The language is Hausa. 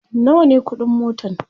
nawa ne ƙuɗin motan?